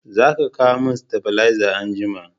Za ka kawo min stabileza anjima